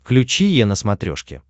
включи е на смотрешке